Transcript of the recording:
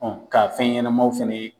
k'a fɛn ɲɛnamaw fɛnɛ ye